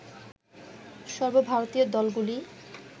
সর্বভারতীয় দলগুলি